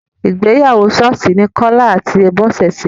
Ìgbéyàwó ṣọ́ọ́ṣì ní Kọ́lá àti Bọ́sẹ̀ ṣe.